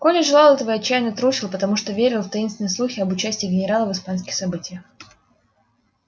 коля желал этого и отчаянно трусил потому что верил в таинственные слухи об участии генерала в испанских событиях